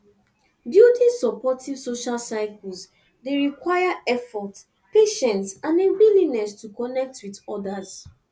building supportive social circles dey require effort patience and a willingness to connect with odas